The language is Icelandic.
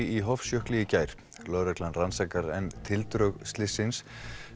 í Hofsjökli í gær lögreglan rannsakar enn tildrög slyssins